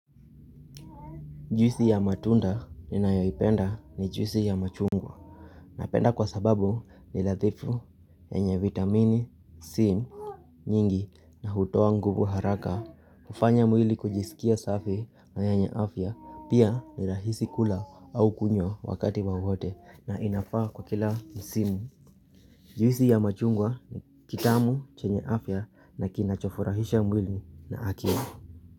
Juisi ya matunda ninayoipenda ni juisi ya machungwa. Napenda kwa sababu ni nadhifu, yenye vitamini c, nyingi na hutoa nguvu haraka. Hufanya mwili kujisikia safi na yenye afya pia ni rahisi kula au kunywa wakati wowote na inafaa kwa kila msimu. Juisi ya machungwa ni kitamu chenye afya na kinachofurahisha mwili na akili.